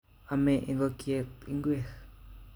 Ome ikokyet ingwek